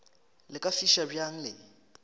le ka fiša bjang le